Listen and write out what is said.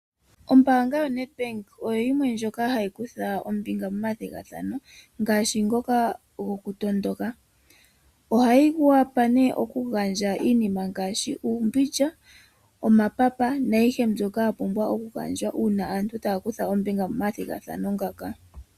Ombaanga yoNedbank oyo yimwe ndjoka hayi kutha ombinga momathigathano ngaashi ngoka gokutondoka. Ohayi wapa nee okugandja iinima ngaashi: uumbindja, omapapa naayihe mbyoka ya pumbwa okugandjwa uuna aantu taya kutha ombinga momathigathano ngaka.